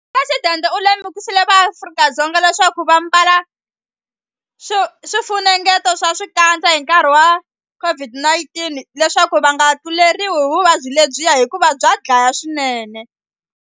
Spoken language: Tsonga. Phuresidente u lemukisile vaAfrika-Dzonga leswaku va mbala swifunengeto swa swikandza hi nkarhi wa COVID-19 leswaku va nga tluleriwi hi vuvabyi lebyiya hikuva bya dlaya swinene.